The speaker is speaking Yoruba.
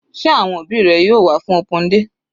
Sé àwọn òbí rẹ yóò wá fún open day?